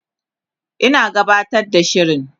Ina gabatar da shirin